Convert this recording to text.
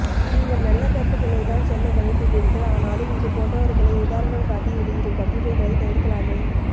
நீங்கள் நல்ல கருத்துகளை தான் சொல்ல முனைந்துள்ளீர்கள் ஆனாலும் இதுபோன்றவர்களை உதாரணம் காட்டி வெளியிடும் கட்டுரைகளை தவிர்க்கலாமே